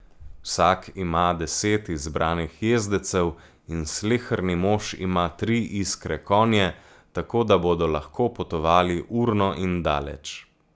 Vsak ima deset izbranih jezdecev, in sleherni mož ima tri iskre konje, tako da bodo lahko potovali urno in daleč.